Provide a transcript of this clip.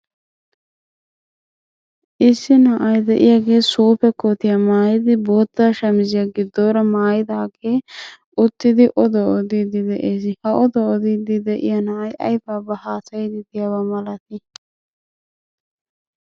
Issi na'ay de'iyagee suufe kootiya mayidi bootta shamisiya giddoora mayidaagee uttidi oduwa odiiddi de'es. Ha oduwa odiiddi de'iya na'ay ayibaabaa haasayiiddi diyabaa malatii?